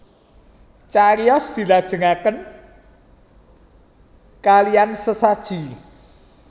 Cariyos dilajengaken kalean sesaji